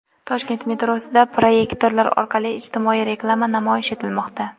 Toshkent metrosida proyektorlar orqali ijtimoiy reklama namoyish etilmoqda.